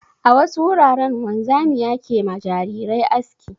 A wasu wuraren wanzamia ke ma jarirai aski.